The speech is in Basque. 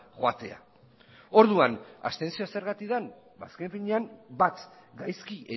joatea orduan abstentzioa zergatik den azken finean bat gaizki